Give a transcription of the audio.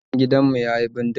Soket din gidan mu yayi bindiga